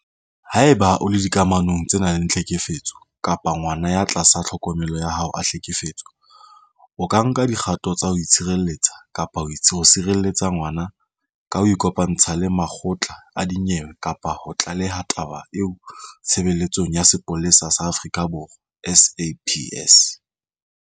Haeba o le dikamanong tse nang le tlhekefetso kapa ngwana ya tlasa tlhokomelo ya hao a hlekefetswa, o ka nka dikgato tsa ho itshireletsa kapa ho tshireletsa ngwana ka ho ikopantsha le makgotla a dinyewe kapa ho tlaleha taba eo Tshebeletsong ya Sepolesa sa Aforika Borwa, SAPS.